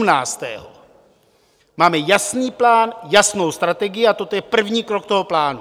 Máme jasný plán, jasnou strategii a toto je první krok toho plánu.